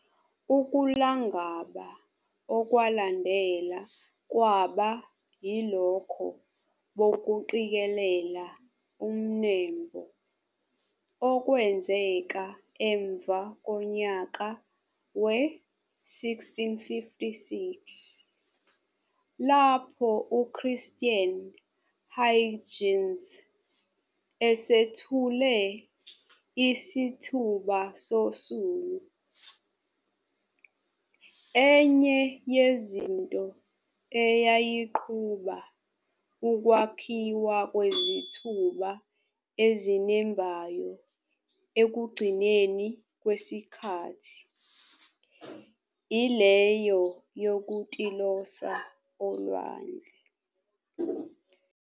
Ukulangaba okwalandela kwaba yilokho bokuqikelela umnembo okwenzeka emva konyaka we-1656, lapho uChristiaan Huygens esethule isithuba sosulu. Enye yezinto eyayiqhuba ukwakhiwa kwezithuba ezinembhayo ekugcinweni kwesikhathi, ileyo yokutilosa olwandle.